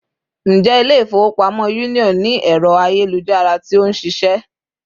Ǹjẹ́ Ilé-ifowopamo Union ni ẹrọ ayelujara tí ó nṣiṣẹ